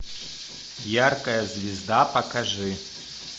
яркая звезда покажи